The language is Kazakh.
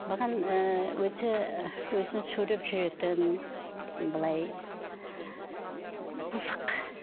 маған ыыы өте і өзін сүйреп жүретін былай пысық